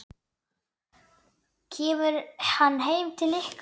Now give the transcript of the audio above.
Kemur hann heim til ykkar?